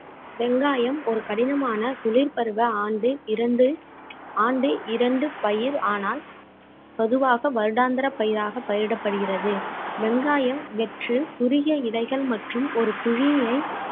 வெங்காயம் ஒரு கடினமான குளிர் பருவ ஆண்டு இரண்டு ஆண்டு இரண்டு பயிர் ஆனால் பொதுவாக வருடாந்திர பயிராக பயிரிடப்படுகிறது வெங்காயம் வெற்று குறுகிய இலைகள் மற்றும் ஒரு குழியை